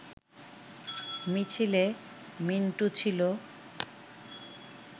মিছিলে মিন্টু ছিল